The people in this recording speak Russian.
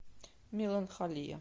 меланхолия